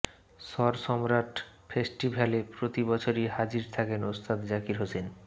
স্বর সম্রাট ফেস্টিভ্যালে প্রতি বছরই হাজির থাকেন উস্তাদ জাকির হুসেন